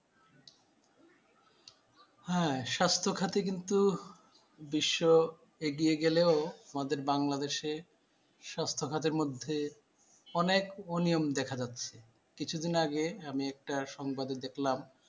হ্যাঁ স্বাস্থ্য খাতে কিন্তু বিশ্ব এগিয়ে গেলেও আমাদের বাংলা দেশে স্বাস্থ্য খাতের মধ্যে অনেক অনিয়ম দেখা যাচ্ছে কিছুদিন আগে আমি একটা সংবাদে দেখলাম ।